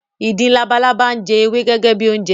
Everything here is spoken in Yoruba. Ìdin labalábá ń jẹ ewé gẹ́gẹ́ bi oúnjẹ